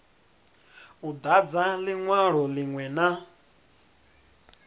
u dadza linwalo linwe na